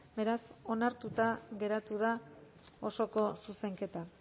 beraz onartuta geratu da osoko zuzenketa